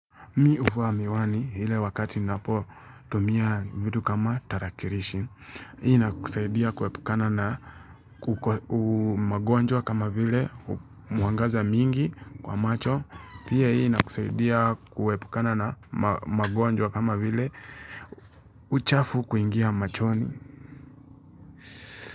Mi huvaa miwani ile wakati napotumia vitu kama tarakilishi. Hii inakusaidia kuepukana na magonjwa kama vile mwangaza mingi kwa macho. Pia hii inakusaidia kuepukana na magonjwa kama vile uchafu kuingia machoni.